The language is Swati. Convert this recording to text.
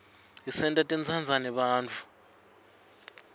isenta sitsandze bantfu